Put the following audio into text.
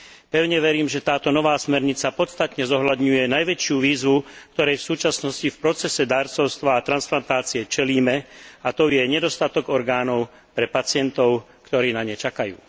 Pevne verím, že táto nová smernica podstatne zohľadňuje najväčšiu výzvu, ktorej v súčasnosti v procese darcovstva a transplantácie čelíme, a tou je nedostatok orgánov pre pacientov, ktorí na ne čakajú.